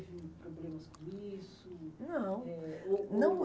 teve problemas com isso? Não. Eh, ou ou... Não